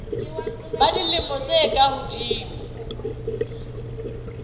ba dilemo tse ka hodimo